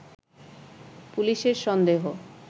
পুলিশের সন্দেহ